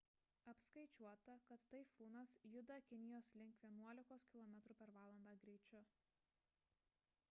apskaičiuota kad taifūnas juda kinijos link vienuolikos km/h greičiu